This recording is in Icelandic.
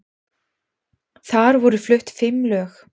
Þar voru flutt fimm lög